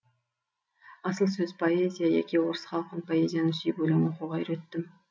асыл сөз поэзия яки орыс халқын поэзияны сүйіп өлең оқуға үйреттім